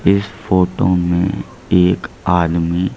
इस फोटो में एक आदमी--